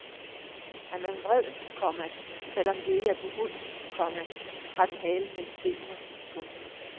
Er man vred, komma selv om det ikke er på hunden, komma har den halen mellem benene. punktum